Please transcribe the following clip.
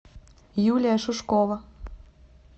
юлия шушкова